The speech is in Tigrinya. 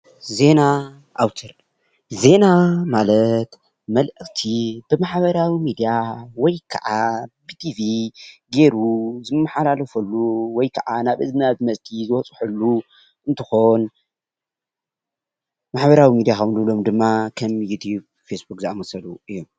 ዜና አውትር:‑ ዜና ማለት መልእክቲ ብማሕበራዊ ሚድያ ወይ ከዓ ብቲቪ ገይሩ ዝመሓላለፈሉ ወይ ከዓ ናብ እዝናዊ ኣድመፅቲ ዝበፅሐሉ እንትኾን፤ ማሕበራዊ ሚድያ ካብ ንብሎም ድማ ከም ዩቱብ፣ ፌስቡክ ዝአመሰሉ እዮም፡፡